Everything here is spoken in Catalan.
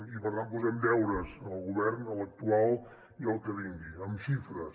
i per tant posem deures al govern a l’actual i al que vingui amb xifres